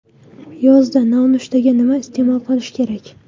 Yozda nonushtaga nima iste’mol qilish kerak?